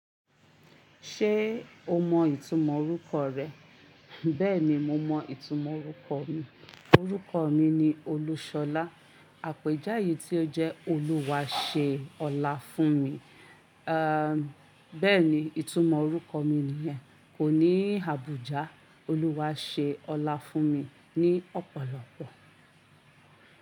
Ṣé o mọ ìtumọ̀ orúkọ rẹ? Bẹ́ẹ̀ni, mo mọ ìtumọ̀ orúkọ mi. Orúkọ mi ni Olúṣọlá. Àpéjáyé tí ó jẹ́ "Olúwa ṣe ọlá fún mi." À, bẹ́ẹ̀ni, ìtumọ̀ orúkọ mi nìyẹn. Kò ní Àbújá, "Olúwa ṣe ọlá fún mi" ní ọ̀pọ̀lọpọ̀.